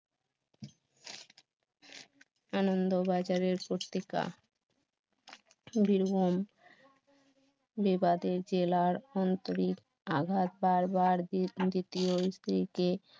আনন্দবাজারের পত্রিকা বীরভূম বিবাদের জেলার আন্তরিক আভার বার বার দ্বিতীয়